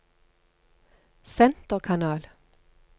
senterkanal